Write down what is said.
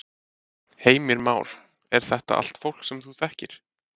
Heimir Már: Er þetta allt fólk sem þú þekkir?